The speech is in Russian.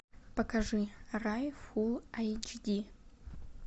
покажи рай фул айч ди